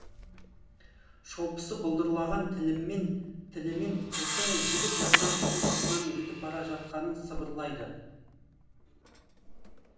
шолпысы былдырлаған тілімен қыздың жігіт жатқан үйдің сыртынан өтіп бара жатқанын сыбырлайды